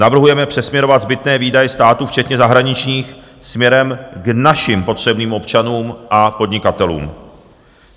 Navrhujeme přesměrovat zbytné výdaje státu včetně zahraničních směrem k našim potřebným občanům a podnikatelům.